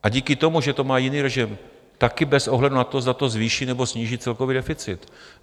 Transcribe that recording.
A díky tomu, že to má jiný režim, také bez ohledu na to, zda to zvýší, nebo sníží celkový deficit.